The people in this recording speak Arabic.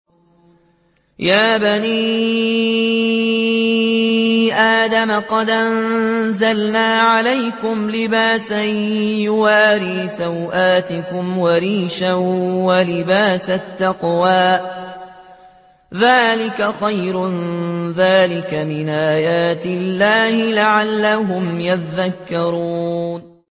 يَا بَنِي آدَمَ قَدْ أَنزَلْنَا عَلَيْكُمْ لِبَاسًا يُوَارِي سَوْآتِكُمْ وَرِيشًا ۖ وَلِبَاسُ التَّقْوَىٰ ذَٰلِكَ خَيْرٌ ۚ ذَٰلِكَ مِنْ آيَاتِ اللَّهِ لَعَلَّهُمْ يَذَّكَّرُونَ